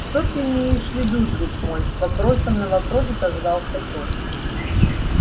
что ты имеешь в виду друг мой вопросом на вопрос отозвался тот